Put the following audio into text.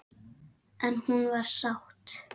En hún var sátt.